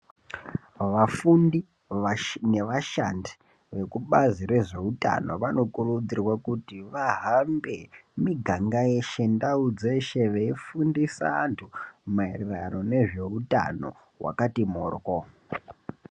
Vafundi nevashandi vekubazi rezveutano vanokurudzirwa kuti vahambe miganga yeshe, ndau dzeshe, veifundisa vantu maererano nezveutano hwakatu mhoryo.